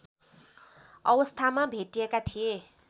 अवस्थामा भेटिएका थिए